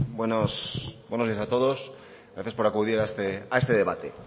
buenos días a todos gracias por acudir a este debate